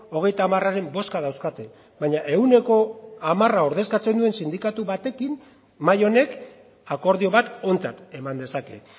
hogeita hamararen bozka dauzkate baina ehuneko hamara ordezkatzen duen sindikatu batekin mahai honek akordio bat ontzat eman dezake